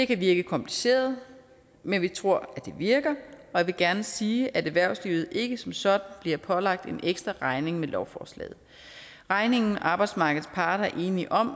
kan virke kompliceret men vi tror det virker jeg vil gerne sige at erhvervslivet ikke som sådan bliver pålagt en ekstra regning med lovforslaget regningen som arbejdsmarkedets parter er enige om